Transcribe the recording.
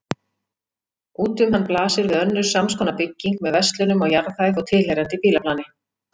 Út um hann blasir við önnur samskonar bygging með verslunum á jarðhæð og tilheyrandi bílaplani.